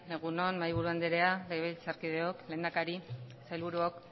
egun on mahaiburu andrea legebiltzarkideok lehendakari sailburuok